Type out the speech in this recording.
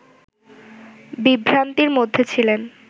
বিভ্রান্তির মধ্যে ছিলেন